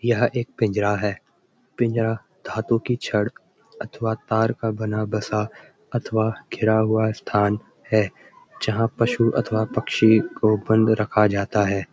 यह एक पिंजरा है पिंजरा धातु की छड़ अथवा तार का बना बसा अथवा घिरा हुआ स्‍थान है जहाँ पशु अथवा पक्षी को बंद रखा जाता है।